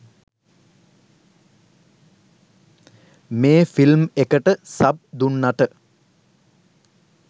මේ ෆිල්ම් එකට සබ් දුන්නට.